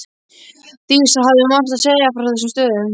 Dísa hafði margt að segja frá þessum stöðum.